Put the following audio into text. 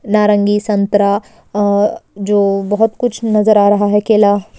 नारंगी संतरा अ जो बहुत कुछ नजर आ रहा है केला --